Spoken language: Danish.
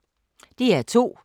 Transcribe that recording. DR2